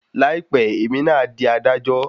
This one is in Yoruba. Láìpẹ́ èmi náà a dí adájọ